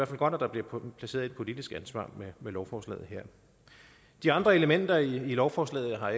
godt at der bliver placeret et politisk ansvar med lovforslaget her de andre elementer i lovforslaget har